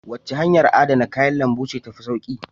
Wace hanyar adana kayan lambu ce ta fi sauƙi?